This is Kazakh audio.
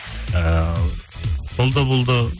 ыыы сол да болды